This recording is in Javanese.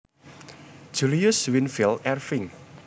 Julius Winfield Erving